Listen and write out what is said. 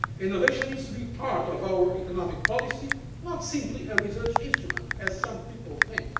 Innovation needs to be part of our economic policy, not simply a research instrument, as some people think.